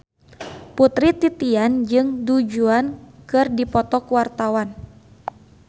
Putri Titian jeung Du Juan keur dipoto ku wartawan